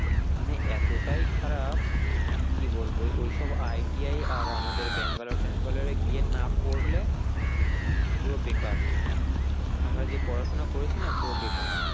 এখানে এতটাই খারাপ কি বলবো ওই সব ITI আর আমাদের ব্যাঙ্গালোর টেঙ্গালোরে গিয়ে না পড়লে পুরো বেকার আমরা যে পড়াশোনা করেছি না পুরো বেকার।